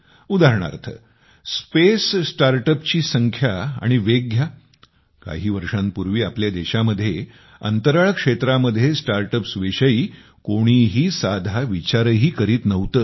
आता अंतराळसंबंधी स्टार्टअप्सची वाढणारी संख्या आणि या व्यवसायांचे होणारे वेगवान काम यांचा विचार केला तर लक्षात येते काही वर्षांपूर्वी आपल्या देशामध्ये अंतराळ क्षेत्रामध्ये स्टार्टअप्सविषयी कोणीही साधा विचारही करीत नव्हते